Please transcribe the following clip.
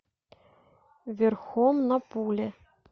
верхом на пуле